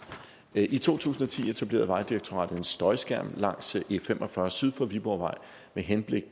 i to tusind og ti etablerede vejdirektoratet en støjskærm langs e45 syd for viborgvej med henblik